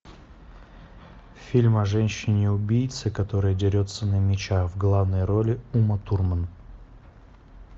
фильм о женщине убийце которая дерется на мечах в главной роли ума турман